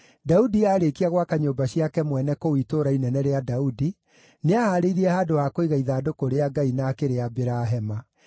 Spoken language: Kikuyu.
Daudi aarĩkia gwaka nyũmba ciake mwene kũu Itũũra Inene rĩa Daudi, nĩahaarĩirie handũ ha kũiga ithandũkũ rĩa Ngai, na akĩrĩambĩra hema.